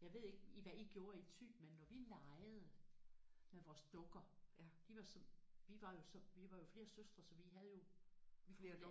Jeg ved ikke i hvad I gjorde i Thy men når vi legede med vores dukker de var så vi var jo så vi var jo flere søstre så vi havde jo